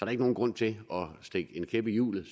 er ikke nogen grund til at stikke en kæp i hjulet